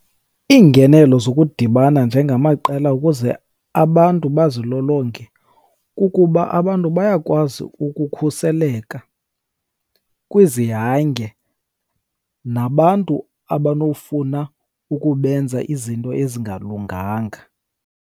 Iingenelo zokudibana njengamaqela ukuze abantu bazilolonge kukuba abantu bayakwazi ukukhuseleka kwizihange nabantu abanofuna ukubenza izinto ezingalunganga.